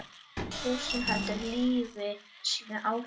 Þursinn heldur lífi sínu áfram.